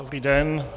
Dobrý den.